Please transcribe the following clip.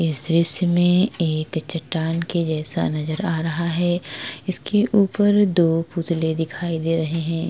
इस दृश्य में एक चट्टान के जैसा नज़र आ रहा है इसके ऊपर दो पुतले दिखाई दे रहे है।